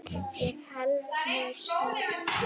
Ég held nú síður.